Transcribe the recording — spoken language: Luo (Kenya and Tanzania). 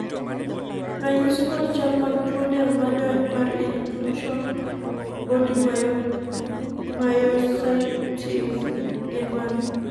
ranyisi kod chal mag tuo del majony mar incluson body mayositis gin mage?